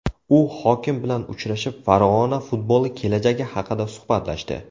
U hokim bilan uchrashib, Farg‘ona futboli kelajagi haqida suhbatlashdi.